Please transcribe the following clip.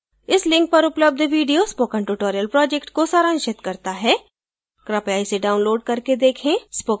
इस link पर उपलब्ध video spoken tutorial project को सारांशित करता है कृपया इसे download करके देखें